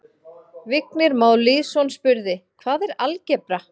Vignir Már Lýðsson spurði: Hvað er algebra?